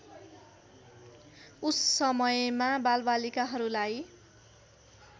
उस समयमा बालबालिकाहरूलाई